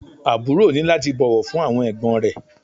Àbúrò ní láti bọ̀wọ̀ fún àwọn ẹ̀gbọ́n rẹ̀